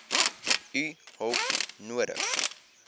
u hulp nodig